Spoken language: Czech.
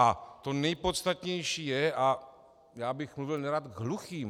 A to nejpodstatnější je - a já bych mluvil nerad k hluchým.